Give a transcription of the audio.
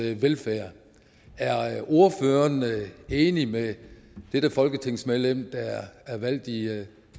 velfærd er ordføreren enig med dette folketingsmedlem der er valgt i